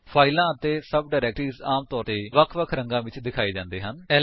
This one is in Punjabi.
ਫਾਇਲਾਂ ਅਤੇ ਸਭ ਡਾਇਰੇਕਟਰੀਜ ਆਮ ਤੌਰ ਵੱਖ ਵੱਖ ਰੰਗਾ ਵਿੱਚ ਦਿਖਾਏ ਜਾਂਦੇ ਹਨ